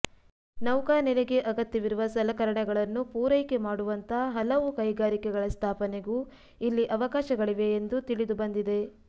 ನೌಕಾನೆಲೆಗೆ ಅಗತ್ಯವಿರುವ ಸಲಕರಣೆಗಳನ್ನು ಪೂರೈಕೆ ಮಾಡುವಂಥ ಹಲವು ಕೈಗಾರಿಕೆಗಳ ಸ್ಥಾಪನೆಗೂ ಇಲ್ಲಿ ಅವಕಾಶಗಳಿವೆ ಎಂದು ತಿಳಿದುಬಂದಿದೆ